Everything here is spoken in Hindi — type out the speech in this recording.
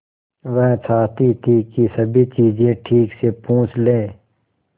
वह चाहती थी कि सभी चीजें ठीक से पूछ ले